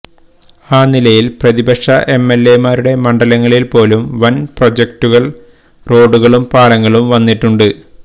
ആ നിലയിൽ പ്രതിപക്ഷ എംഎൽഎമാരുടെ മണ്ഡലങ്ങളിൽ പോലും വൻ പ്രോജക്ടുകൾ റോഡുകളും പാലങ്ങളും വന്നിട്ടുണ്ട്